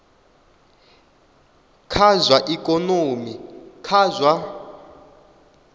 kha zwa ikonomi kha zwa